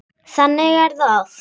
Þannig er það oft.